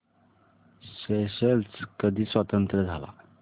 Seychelles कधी स्वतंत्र झाला